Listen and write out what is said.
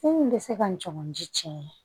Min bɛ se ka n cɔgɔn ji cɛ ye